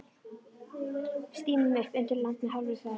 Stímum upp undir land með hálfri ferð.